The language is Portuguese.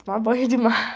Tomar banho de mar.